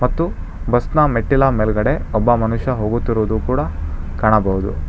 ಮತ್ತು ಬಸ್ ನ ಮೆಟ್ಟಿಲ ಮೇಲ್ಗಡೆ ಒಬ್ಬ ಮನುಷ್ಯ ಹೋಗುತ್ತಿರುವುದು ಕೂಡ ಕಾಣಬಹುದು.